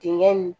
Dengɛ nin